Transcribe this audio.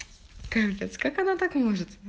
капец как она так может